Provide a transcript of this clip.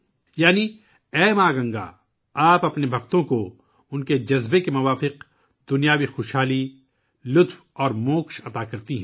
یعنی اے گنگا ماں! آپ اپنے عقیدت مندوں کو ان کی خواہشات کے مطابق دنیاوی خوشی اور نجات عطا کرتی ہیں